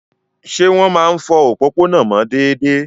Ṣé wọ́n máa ń fọ òpópónà mọ́ déédéé?